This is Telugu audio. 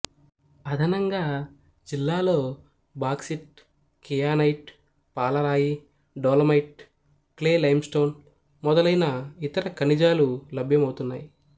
అదనంగా జిల్లాలో బాక్సిట్ కియానైట్ పాలరాయి డోలోమైట్ క్లే లైంస్టోన్ మొదలైన ఇతర ఖనిజాలు లభ్యమౌతున్నాయి